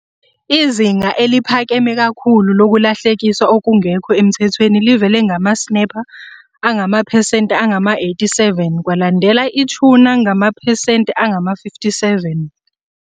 Izinga eliphakeme kakhulu lokulahlekiswa okungekho emthethweni livele nge-snapper ngamaphesenti angama-87, kwalandelwa i-tuna ngamaphesenti angama-57.